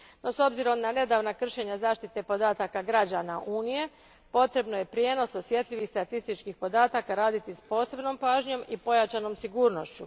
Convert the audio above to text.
No, s obzirom na nedavna kršenja zaštite podataka građana Unije, potrebno je prijenos osjetljivih statističkih podataka raditi s posebnom pažnjom i pojačanom sigurnošću.